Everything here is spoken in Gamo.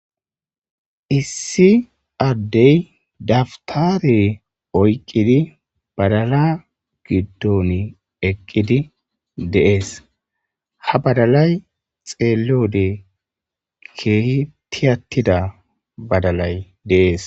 issi addey daftare oyqqidi badala giddon eqqidi deees ha badalay xeelode kehitiyattida badalay dees